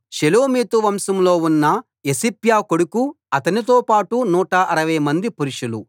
షెలోమీతు వంశంలో ఉన్న యోసిప్యా కొడుకు అతనితో పాటు 160 మంది పురుషులు